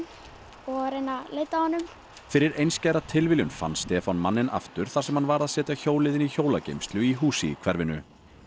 og reyna að leita að honum fyrir einskæra tilviljun fann Stefán manninn aftur þar sem hann var að setja hjólið inn í hjólageymslu í húsi í hverfinu